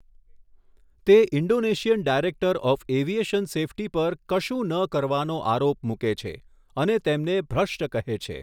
તે Indonesian director of aviation safety પર 'કશું ન કરવાનો' આરોપ મૂકે છે, અને તેમને 'ભ્રષ્ટ' કહે છે.